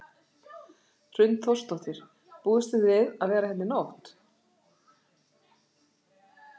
Hrund Þórsdóttir: Búist þið við að vera hérna í nótt?